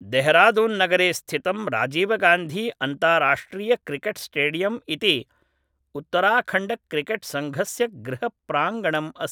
दॆहरादून्नगरे स्थितं राजीवगान्धी अन्ताराष्ट्रियक्रिकेट्स्टेडियम् इति उत्तराखण्डक्रिकेट्सङ्घस्य गृहप्राङ्गणम् अस्ति